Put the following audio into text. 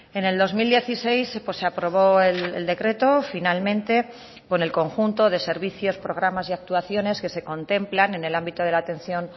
en el dos mil dieciséis se aprobó el decreto finalmente con el conjunto de servicios programas y actuaciones que se contemplan en el ámbito de la atención